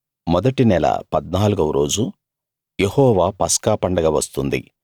మొదటి నెల 14 వ రోజు యెహోవా పస్కాపండగ వస్తుంది